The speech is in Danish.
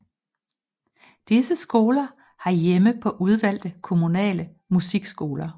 Disse skoler har hjemme på udvalgte kommunale musikskoler